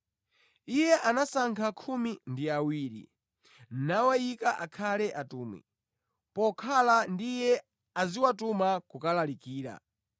Iye anasankha khumi ndi awiri, nawayika akhale atumwi; pokhala ndi Iye aziwatuma kukalalikira